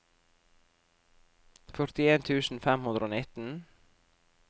førtien tusen fem hundre og nitten